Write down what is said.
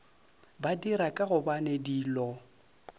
ba dira ka gobane dilo